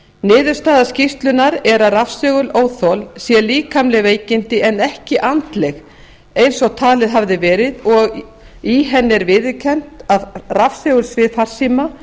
niðurstaða skýrslunnar er að rafsegulóþol sé líkamleg veikindi en ekki andleg eins og talið hafði verið og í henni er viðurkennt að rafsegulsvið farsíma